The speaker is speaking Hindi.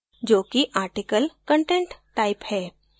जो कि article content type है